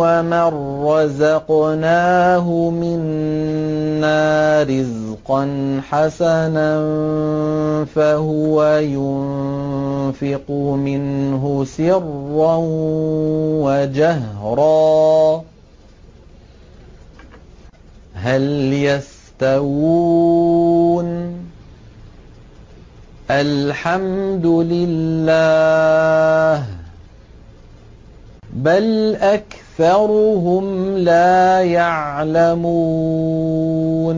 وَمَن رَّزَقْنَاهُ مِنَّا رِزْقًا حَسَنًا فَهُوَ يُنفِقُ مِنْهُ سِرًّا وَجَهْرًا ۖ هَلْ يَسْتَوُونَ ۚ الْحَمْدُ لِلَّهِ ۚ بَلْ أَكْثَرُهُمْ لَا يَعْلَمُونَ